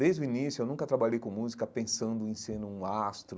Desde o início, eu nunca trabalhei com música pensando em ser um astro,